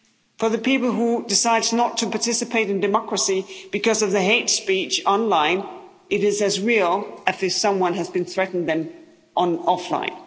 For the people who decide not to participate in democracy because of the hate speech online, it is as real as if someone has threatened them offline.